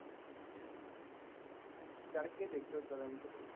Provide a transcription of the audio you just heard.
ਚੜ੍ਹ ਕੀ ਦੇਖਿਓ ਇਕ ਦਿਨ ਕੀਤੇ